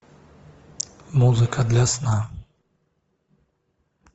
музыка для сна